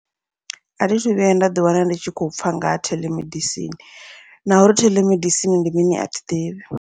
Athi thu vhuya nda ḓi wana ndi tshi khou pfha ngaha theḽemedisini, nauri theḽemedisini ndi mini athi ḓivhi.